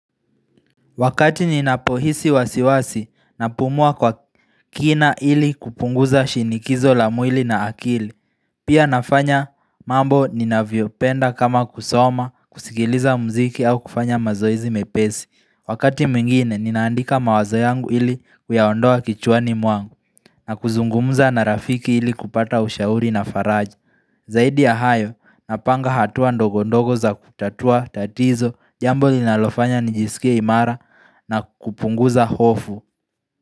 Wakati ninapohisi wasiwasi na pumua kwa kina ili kupunguza shinikizo la mwili na akili Pia nafanya mambo ninavyopenda kama kusoma, kusigiliza muziki au kufanya mazoezi mepesi. Wakati mwingine ninaandika mawazo yangu ili kuyaondoa kichwani mwangu na kuzungumuza na rafiki ili kupata ushauri na faraji Zaidi ya hayo napanga hatua ndogondogo za kutatua tatizo. Jambo linalofanya nijisikie imara na kupunguza hofu.